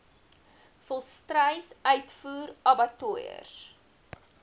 volstruis uitvoer abattoirs